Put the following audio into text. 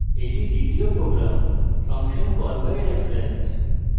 এটি দ্বিতীয় program function callbyreference